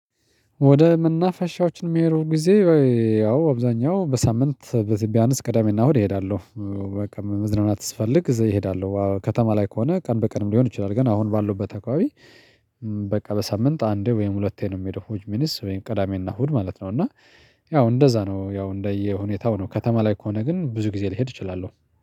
ወደ መናፈሻዎችን የሚሄደው ጊዜ ወይ ያው አብዛኛው በሳምንት ብያንስ ቅዳሜና እና እሁድ እሄዳለሁ። በቃ መዝናናት ስፈልግ እሄዳለሁ ከተማ ላይ ከሆነ ቀን በቀንም ሊሆን ይችላል ግን አሁን ባለሁበት አከባቢ። በሳምንት አንዴ ወይም ሁለቴ ነው የምሄደው ሁችሚንስ ቅዳሜና እሁድ ማለት ነው። እና ያው እንደዛ ነው ያው እንደየሁኔታው ነው ከተማ ላይ ከሆነ ግን ብዙ ጊዜ ልሄድ እችላለሁ።